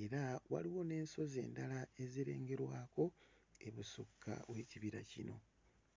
era waliwo n'ensozi endala ezirengerwako ebusukka w'ekibira kino.